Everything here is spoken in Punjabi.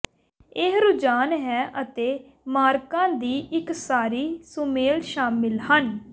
ਇਹ ਰੁਝਾਨ ਹੈ ਅਤੇ ਮਾਰਕਾ ਦੀ ਇੱਕ ਸਾਰੀ ਸੁਮੇਲ ਸ਼ਾਮਿਲ ਹਨ